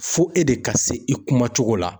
Fo e de ka se i kuma cogo la.